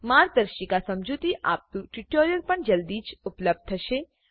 માર્ગદર્શિકા સમજુતી આપતું ટ્યુટોરીયલ પણ જલ્દી જ ઉપલબ્ધ થશે